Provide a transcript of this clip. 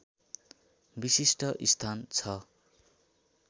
विशिष्ट स्थान छ